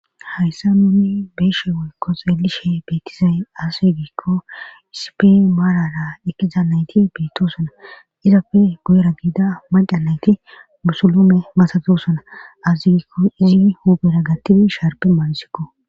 hayssa nuni beeshe woykkos elishe beettizay azzigikko isipe maarara ekiza nayti beettosona izapfe guyera giida maca nayti musulume masatosona azigikko izi huubera gattidi sharpe maansikko